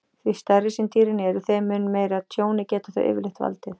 Því stærri sem dýrin eru, þeim mun meira tjóni geta þau yfirleitt valdið.